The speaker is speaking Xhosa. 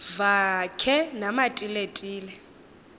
vakhe namatile tile